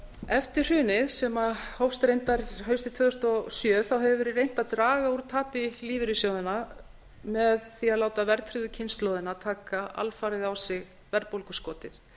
eftir hrunið sem hófst reyndar haustið tvö þúsund og sjö hefur verið reynt að draga úr tapi lífeyrissjóðanna með því að láta verðtryggðu kynslóðina taka alfarið á sig verðbólguskotið